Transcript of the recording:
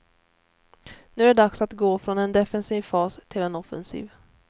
Nu är det dags att gå från en defensiv fas till en offensiv.